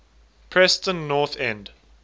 preston north end